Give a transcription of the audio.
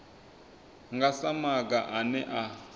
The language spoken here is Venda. nga sa maga ane a